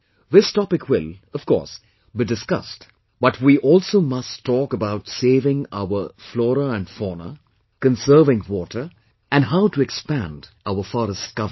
This topic will, of course, be discussed, but we also must talk about saving our flora and fauna, conserving water, and how to expand our forest cover